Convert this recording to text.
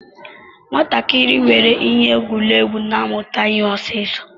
Nwatakịrị nwere ihe egwuregwu na-amụta ihe ọsọ ọsọ.